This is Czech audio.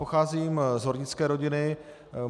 Pocházím z hornické rodiny.